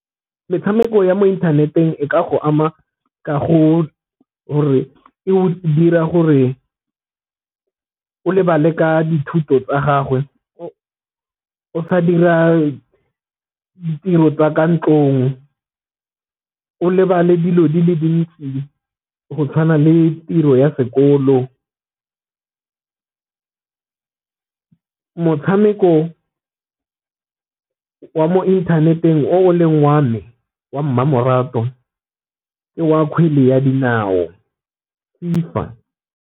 Metshameko ya mo inthaneteng e ka go ama kago gore o dira gore o lebale ka dithuto tsa gagwe, o sa dira tiro tswa ka ntlong, o lebale dilo di le dintsi go tshwana le tiro ya sekolo. Motshameko mo inthaneteng o leng wa me wa mmamoratwa go ke wa kgwele ya dinao FIFA.